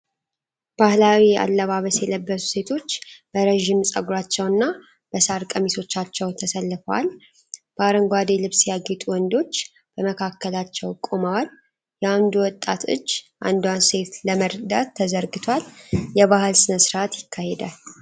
ባህላዊ አለባበስ የለበሱ ሴቶች በረዥም ፀጉራቸውና በሣር ቀሚሶቻቸው ተሰልፈዋል። በአረንጓዴ ልብስ ያጌጡ ወንዶች በመካከላቸው ቆመዋል። የአንዱ ወጣት እጅ አንዷን ሴት ለመርዳት ተዘርግቷል፤ የባህል ሥነ-ሥርዓት ይካሄዳል።